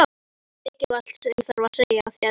Ég hef svolítið mikilvægt sem ég þarf að segja þér.